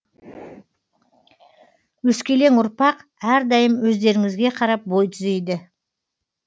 өскелең ұрпақ әрдайым өздеріңізге қарап бой түзейді